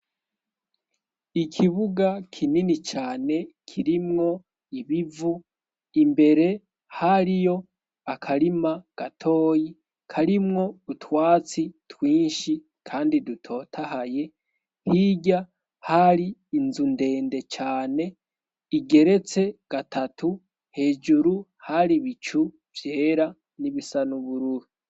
Ikibuga kinini cane kirimwo ibivu imbere hariyo akarima gatoyi karimwo utwatsi twinshi, kandi dutotahaye hira hari inzu ndende cane igeretse gaaa atu hejuru hari bicu vyera n'ibisanaubururu.